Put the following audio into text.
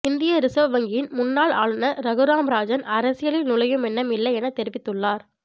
இந்திய ரிசர்வ் வங்கியின் முன்னாள் ஆளுநர் ரகுராம் ராஜன் அரசியலில் நுழையும் எண்ணம் இல்லை எனத் தெரிவித்துள்ளார்